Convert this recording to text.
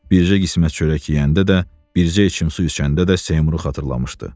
Bircə qismət çörək yeyəndə də, bircə içim su içəndə də Seymuru xatırlamışdı.